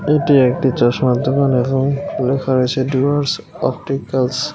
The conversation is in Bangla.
এটি একটি চশমার দোকান এবং লেখা আছে ডুয়ার্স অপটিকালস ।